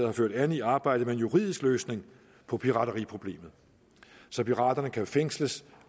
har ført an i arbejdet med en juridisk løsning på pirateriproblemet så piraterne kan fængsles